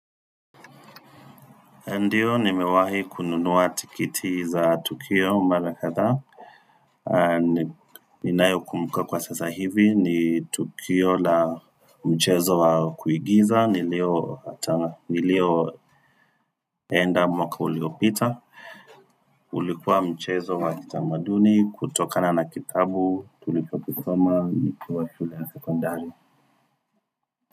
Ndiyo, nimewahi kununuwa tikiti za Tukio, mara kadhaa ninayo kumbuka kwa sasa hivi, ni Tukio la mchezo wa kuigiza, nilioenda mwaka uliopita. Ulikuwa mchezo wa kitamaduni, kutokana na kitabu, tulikokisoma, nikuwa shule ya sekondari.